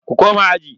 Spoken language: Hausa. Ku koma aji.